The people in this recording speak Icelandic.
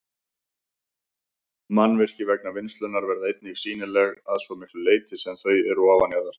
Mannvirki vegna vinnslunnar verða einnig sýnileg að svo miklu leyti sem þau eru ofanjarðar.